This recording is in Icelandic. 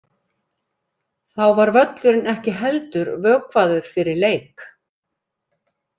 Þá var völlurinn ekki heldur vökvaður fyrir leik.